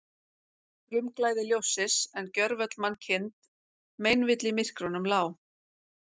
Frumglæði ljóssins, en gjörvöll mannkind meinvill í myrkrunum lá.